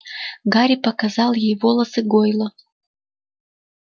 гарри показал ей волосы гойла